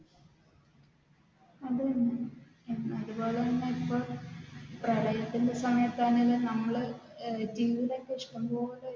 അത് തന്നെ അതുപോലെ തന്നെ ഇപ്പൊ പ്രളയത്തിന്റെ സമയത്താണെങ്കിലും നമ്മൾ